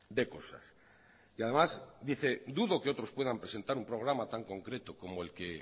de cosas y además dice dudo que otros puedan presentar un programa tan concreto como el que